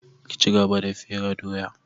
Ki cigaba da fere doya!